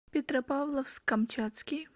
петропавловск камчатский